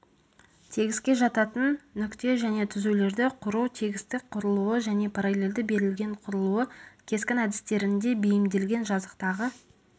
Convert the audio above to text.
тегіске жататын нүкте және түзулерді құру тегістік құрылуы және параллельді берілген құрылуы кескін әдістерінде бейімделген жазықтағы